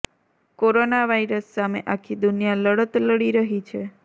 corona virus સામે આખી દુનિયા લડત લડી રહી છે